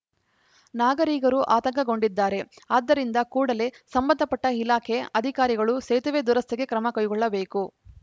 ನಾಗರಿಕರು ಆತಂಕಗೊಂಡಿದ್ದಾರೆ ಆದ್ದರಿಂದ ಕೂಡಲೇ ಸಂಬಂಧಪಟ್ಟಇಲಾಖೆ ಅಧಿಕಾರಿಗಳು ಸೇತುವೆ ದುರಸ್ತಿಗೆ ಕ್ರಮಕೈಗೊಳ್ಳಬೇಕು